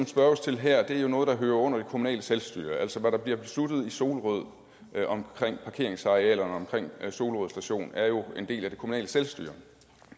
spørges til her er jo noget der hører under det kommunale selvstyre altså hvad der bliver besluttet i solrød om parkeringsarealerne omkring solrød station er jo en del af det kommunale selvstyre